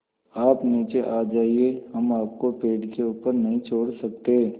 आप नीचे आ जाइये हम आपको पेड़ के ऊपर नहीं छोड़ सकते